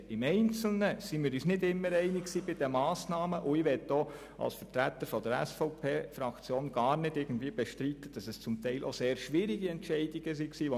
Bei den einzelnen Massnahmen waren wir uns nicht immer einig, und ich möchte als Vertreter der SVP-Fraktion nicht bestreiten, dass es teilweise schwierige Entscheide waren.